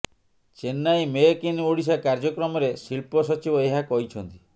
Chennai make in Odisha କାର୍ଯ୍ୟକ୍ରମରେ ଶିଳ୍ପ ସଚିବ ଏହା କହିଛନ୍ତି